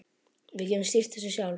Við getum stýrt þessu sjálf.